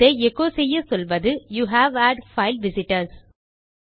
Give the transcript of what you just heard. இதை எச்சோ செய்ய சொல்வது யூவ் ஹாட் பைல் விசிட்டர்ஸ்